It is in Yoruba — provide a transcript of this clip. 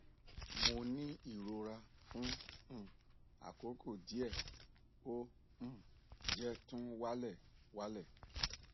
mo ni irora fun um akoko die o um je tun wa le wa le